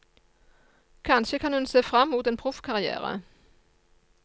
Kanskje kan hun se frem mot en proffkarrière.